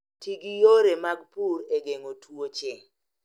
Ti gi yore mag pur e geng'o tuoche